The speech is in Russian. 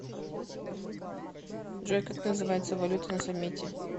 джой как называется валюта на самете